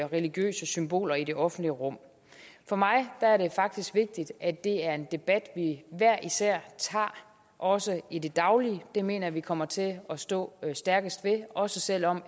religiøse symboler i det offentlige rum for mig er det faktisk vigtigt at det er en debat vi hver især tager også i det daglige det mener jeg at vi kommer til at stå stærkest ved også selv om